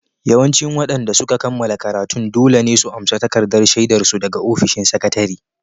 Yawancin waɗanda suka kammala karatun dole ne su amsa takardar shaidar su daga ofishin sakatare